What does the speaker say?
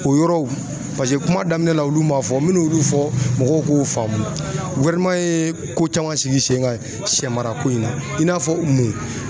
O yɔrɔw paseke kuma daminɛ la olu m'a fɔ, n bɛ n'olu fɔ mɔgɔw k'u faamu ko caman sigi sen kan shɛ marako in na i n'a fɔ mun?